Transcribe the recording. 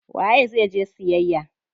Waye zai je siyayya?